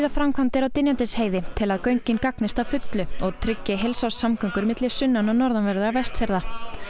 framkvæmdir á Dynjandisheiði til að göngin gagnist að fullu og tryggi heilsárssamgöngur milli sunnan og norðanverðra Vestfjarða